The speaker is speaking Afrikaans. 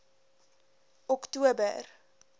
oktober